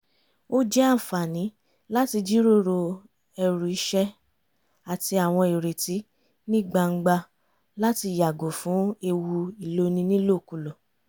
ó jẹ́ àǹfààní láti jíròrò ẹrù iṣẹ́ àti àwọn ìrètí ní gbangba láti yàgò fún ewu ìloni nílòkulò